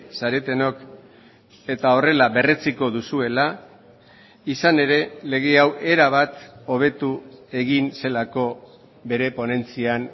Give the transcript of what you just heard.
zaretenok eta horrela berretsiko duzuela izan ere lege hau erabat hobetu egin zelako bere ponentzian